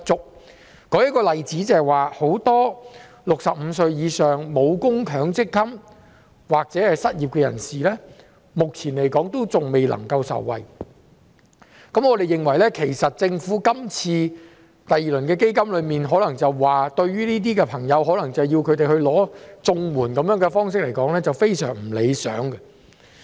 我舉一個例子，很多65歲以上、沒有供強制性公積金或正在失業的人士，目前仍然無法受惠，對於政府今次推出第二輪防疫抗疫基金，以及要求這些朋友申請綜援的說法，我認為是非常不理想的。